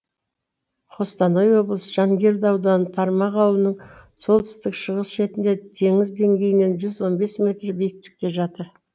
қостанай облысы жангелді ауданы тармақ ауылының солтүстік шығыс шетінде теңіз деңгейінен жүз он бес метр биіктікте жатыр